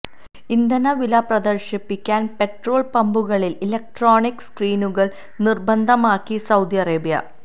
ഇന്ധന വില പ്രദർശിപ്പിക്കാൻ പെട്രോൾ പമ്പുകളിൽ ഇലക്ട്രോണിക് സ്ക്രീനുകൾ നിർബന്ധമാക്കി സൌദി അറേബ്യ